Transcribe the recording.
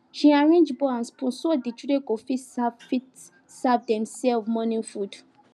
she arrange bowl and spoon so the children go fit serve fit serve demself morning food